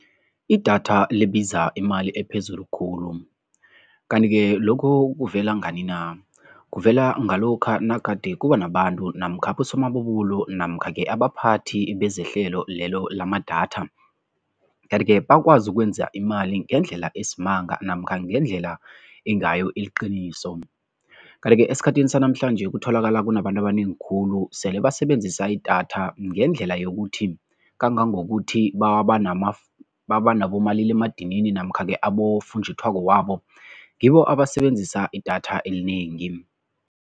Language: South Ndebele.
Idatha libiza imali ephezulu khulu kanti-ke lokhu kuvela ngani na? Kuvela ngalokha nagade kuba nabantu namkha abosomabubulo namkha-ke abaphathi bezehlelo lelo lamadatha kanti-ke bakwazi ukwenza imali ngendlela esimanga namkha ngendlela engayo iliqiniso. Kanti-ke esikhathini sanamhlanje kutholakala kunabantu abanengi khulu sele basebenzisa idatha ngendlela yokuthi kangangokuthi babanabomaliledinini namkha-ke abofunjathwako wabo, ngibo abasebenzisa idatha elinengi.